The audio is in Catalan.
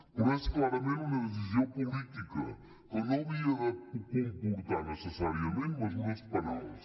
però és clarament una decisió política que no havia de comportar necessàriament mesures penals